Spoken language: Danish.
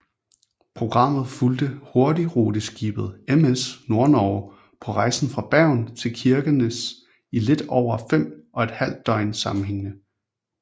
Programmet fulgte hurtigruteskibet MS Nordnorge på rejsen fra Bergen til Kirkenes i lidt over fem og et halvt døgn sammenhængende